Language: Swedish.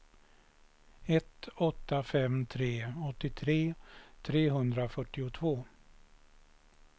ett åtta fem tre åttiotre trehundrafyrtiotvå